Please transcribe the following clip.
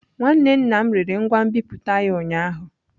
Nwanne nna m rere ngwa nbipute ya ụnyaahụ.